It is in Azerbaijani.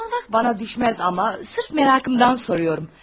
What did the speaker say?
Sormaq mənə düşməz, amma sırf marağımdan soruram.